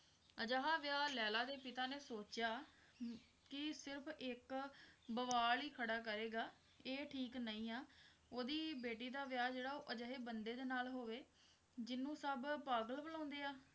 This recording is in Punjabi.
ਅਜਿਹਾ ਵਿਆਹ ਲੈਲਾ ਦੇ ਪਿਤਾ ਨੇ ਸੋਚਿਆ ਕੀ ਸਿਰਫ ਇੱਕ ਬਵਾਲ ਹੀ ਖੜਾ ਕਰੇਗਾ ਇਹ ਠੀਕ ਨਹੀਂ ਆ ਉਹਦੀ ਬੇਟੀ ਦਾ ਵਿਆਹ ਜਿਹੜਾ ਉਹ ਅਜਿਹੇ ਬੰਦੇ ਦੇ ਨਾਲ ਹੋਵੇ ਜਿਹਨੂੰ ਸਭ ਪਾਗਲ ਬੁਲਾਉਂਦੇ ਆ